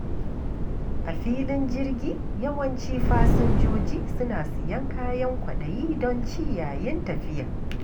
A filin jirgi, yawanci fasinjoji suna siyan kayan kwaɗayi don ci yayin tafiya.